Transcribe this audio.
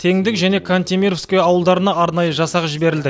теңдік және кантемировское ауылдарына арнайы жасақ жіберілді